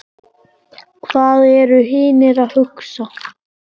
Hvað eru hinir að hugsa?